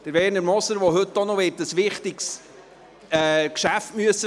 Werner Moser wird heute auch noch ein wichtiges Geschäft vertreten müssen.